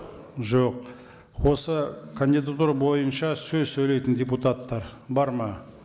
жоқ осы кандидатура бойынша сөз сөйлейтін депутаттар бар ма